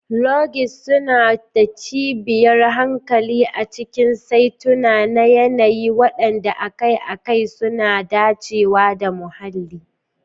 Lodges suna da kwanciyar hankali a cikin saitunan yanayi waɗanda akai-akai masu dacewa da muhalli.